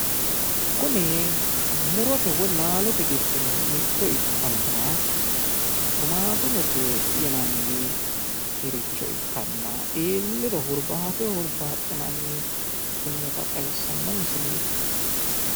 Kuni murote woyi laalote giddo mitto ikkanna, tumaatumete yinanniricho ikkanna iilliro hurbaateho hurbbaxinanniha ikkinota xawissanno misileeti.